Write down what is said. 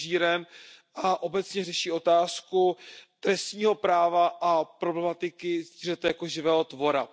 množíren a obecně řeší otázku trestního práva a problematiky zvířete jako živého tvora.